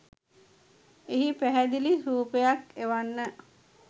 එහි පැහැදිලි රුපයක් එවන්න.